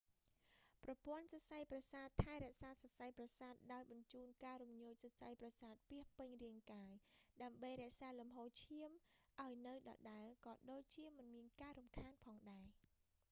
ប្រព័ន្ធសរសៃប្រសាទថែរក្សាសរសៃប្រសាទ ដោយបញ្ជូនការរំញោចសរសៃប្រសាទពាសពេញរាងកាយ ដើម្បីរក្សាលំហូរឈាមឱ្យនៅដដែលក៏ដូចជាមិនមានការរំខានផងដែរ